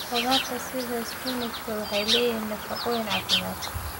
Khudradda sida spinachi waxay leeyihiin nafaqooyin caafimaad.